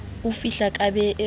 o fihla ka be ke